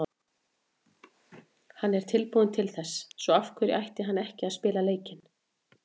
Hann er tilbúinn til þess, svo af hverju ætti hann ekki að spila leikinn?